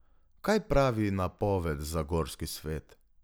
Kaj pravi napoved za gorski svet?